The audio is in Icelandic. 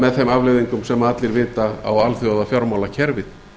með þeim afleiðingum sem allir vita á alþjóðafjármálakerfið